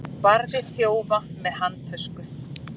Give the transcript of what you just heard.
Barði þjófa með handtösku